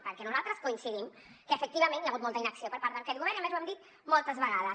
perquè nosaltres coincidim que efectivament hi ha hagut molta inacció per part d’aquest govern i a més ho hem dit moltes vegades